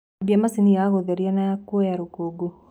ambia machĩnĩ ya gutherĩa na kũoya rukungu